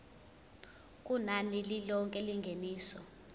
kunani lilonke lengeniso